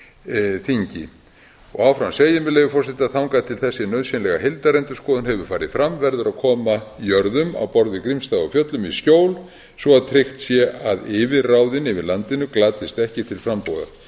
löggjafarþingi áfram segir með leyfi forseta þangað til þessi nauðsynlega heildarendurskoðun hefur farið fram verður að koma jörðum á borð við grímsstaði á fjöllum í skjól svo að tryggt sé að yfirráðin yfir landinu glatist ekki til frambúðar